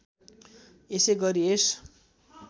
यसै गरी यस